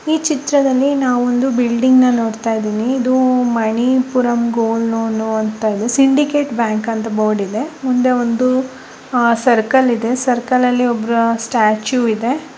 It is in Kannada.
ಈ ಚಿತ್ರದಲ್ಲಿ ನವೊಂದು ಬಿಲ್ಡಿಂಗ್ ನೋಡುತಾಯಿದಿನಿ ಮಣಿಪುರಂ ಗೋಲ್ಡ್ ಲೋನ್ ಅಂತ ಇದೆ ಸಿಂಡಿಕೆಟ್ ಬ್ಯಾಂಕ್ ಅಂತ ಬೋರ್ಡ್ ಇದೆ ಮುಂದೆ ಒಂದು ಸರ್ಕಲ್ ಇದೆ ಸರ್ಕಲ್ ಅಲ್ಲಿ ಒಬ್ಬರ ಸ್ಟಾಚು ಇದೆ.